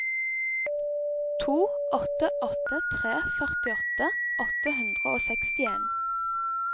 to åtte åtte tre førtiåtte åtte hundre og sekstien